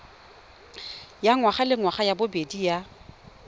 ya ngwagalengwaga ya bobedi ya